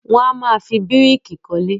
Won amáa fi bíríkì kólé.